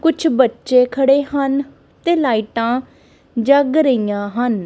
ਕੁਛ ਬੱਚੇ ਖੜੇ ਹਨ ਤੇ ਲਾਈਟਾਂ ਜਗ ਰਹੀਆਂ ਹਨ।